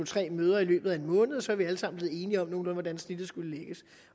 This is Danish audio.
tre møder i løbet af en måned og så var vi alle sammen blevet enige om hvordan snittet nogenlunde skulle lægges